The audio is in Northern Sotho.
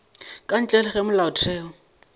ka ntle le ge molaotheo